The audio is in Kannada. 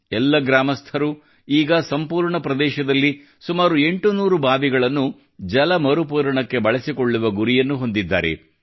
ಎಲ್ಲ ಗ್ರಾಮಸ್ಥರು ಈಗ ಸಂಪೂರ್ಣ ಪ್ರದೇಶದಲ್ಲಿ ಸುಮಾರು 800 ಬಾವಿಗಳನ್ನು ಜಲ ಮರುಪೂರಣಕ್ಕೆ ಬಳಸಿಕೊಳ್ಳುವ ಗುರಿಯನ್ನು ಹೊಂದಿದ್ದಾರೆ